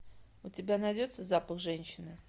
у тебя найдется запах женщины